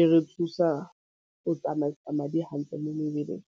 e re thusa go tsamaisa madi hantle mo mebeleng.